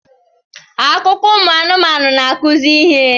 Akụkọ ụmụ anụmanụ na-akụzi ihe